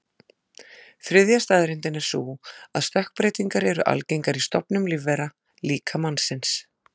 Þriðja staðreyndin er sú að stökkbreytingar eru algengar í stofnum lífvera, líka mannsins.